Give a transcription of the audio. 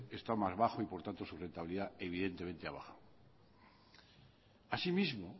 está más bajo y por tanto su rentabilidad evidentemente ha bajado así mismo